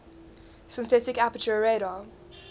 synthetic aperture radar